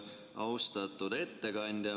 Austatud ettekandja!